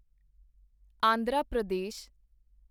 Andhra Pradesh